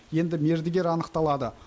енді мердігер анықталады